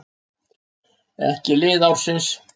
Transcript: Ekki lið ársins: